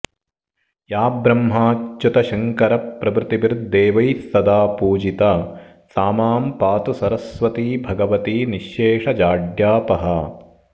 या ब्रह्माच्युतशङ्करप्रभृतिभिर्देवैस्सदा पूजिता सा मां पातु सरस्वती भगवती निश्शेषजाड्यापहा